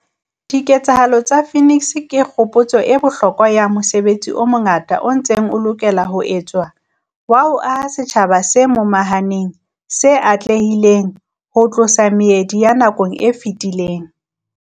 Diketsahalo tsa Phoenix ke kgopotso e bohloko ya mosebetsi o mongata o ntseng o lokela ho etswa wa ho aha setjhaba se momahaneng se atlehileng ho tlosa meedi ya nako e fetileng.